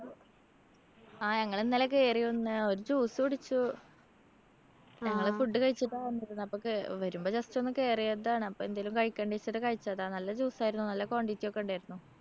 ആ ഞങ്ങളിന്നലെ കേറിയിരുന്ന്. ഒരു juice കുടിച്ചു. ഞങ്ങള് food കഴിച്ചിട്ടാ വന്നിരുന്നേ. അപ്പോ കേ വരുമ്പോ just ഒന്ന് കേറിയതാണ്. അപ്പോ എന്തേലും കഴിക്കണ്ടേച്ചിട്ട് കഴിച്ചതാണ്. നല്ല juice ആയിരുന്നു. നല്ല quantity ഒക്കെ ഉണ്ടായിരുന്നു.